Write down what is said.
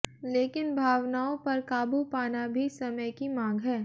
लेकिन भावनाओं पर काबू पाना भी समय की मांग है